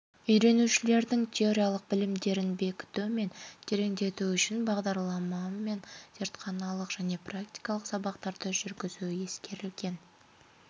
үйренушілердің теориялық білімдерін бекіту мен тереңдету үшін бағдарламамен зертханалық және практикалық сабақтарды жүргізу ескерілген